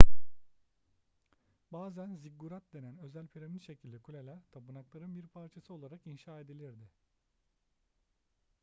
bazen ziggurat denen özel piramit şekilli kuleler tapınakların bir parçası olarak inşa edilirdi